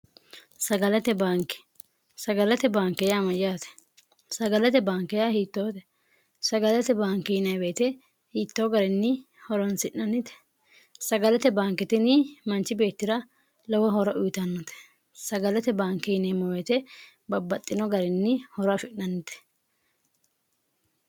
bnsagalate baanke yaa amayyaatesagalate baankeya hiittoote sagalate baankiyineeweete hiittoo garinni horonsi'nannite sagalate baankitini manchi beettira lowo horo uyitannote sagalate baankiyineemeweete babbaxxino garinni horo afi'nannite